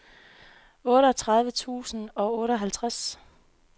otteogtredive tusind og otteoghalvtreds